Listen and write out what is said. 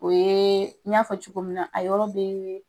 O ye, y'a fɔ cogo min na, a yɔrɔ be